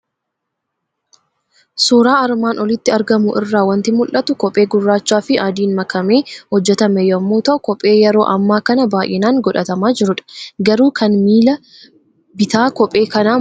Suuraa armaan olitti argamu irraa waanti mul'atu; kophee gurraachafi adiin makamee hojjetame yommuu ta'u kophee yeroo amma kana baay'inaan godhatamaa jirudha. Garuu kan miila bitaa kophee kanaa maalif cinasaa hin teenyee?